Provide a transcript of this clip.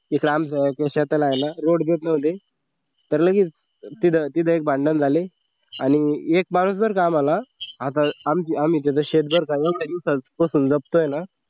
तिकडं आमच्या शेताला आहे न road gate नव्हते तर लगेच तिथं एक भांडण झाले आणि एक माणूस कामाला आता आम्ही त्याच शेत जर का कसून जपतोय न